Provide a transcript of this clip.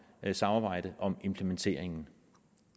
samarbejde om implementeringen